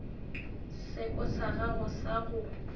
seko sa gago sa go